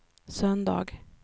söndag